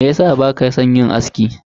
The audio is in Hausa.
Meyasa baka san yin aski?